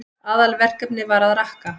Aðalverkefnið var að rakka.